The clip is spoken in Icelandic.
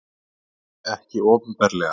Nei, ekki opinberlega.